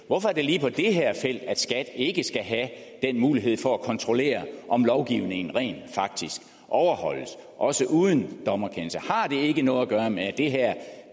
hvorfor er det lige på det her felt at skat ikke skal have den mulighed for at kontrollere om lovgivningen rent faktisk overholdes også uden dommerkendelse har det ikke noget at gøre med at det her